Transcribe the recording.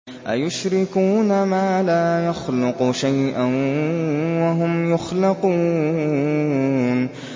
أَيُشْرِكُونَ مَا لَا يَخْلُقُ شَيْئًا وَهُمْ يُخْلَقُونَ